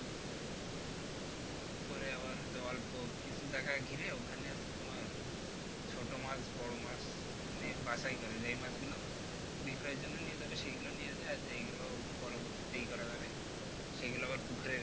পরে আবার যে অল্প কিছু জায়গা ঘিরে ওখানে আর কি তোমার ছোট মাছ বড় মাছ মানে বাছাই করে এই মাছ গুলো বিক্রয়ের জন্য নিয়ে যাবে সেগুলা নিয়ে যাইয়ে যেগুলো পরবর্তীতে ইয়ে করা যাবে সেগুলো আবার পুকুরে